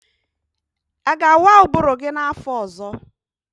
Ị ga-awa ụbụrụ gi n'afọ ọzọ?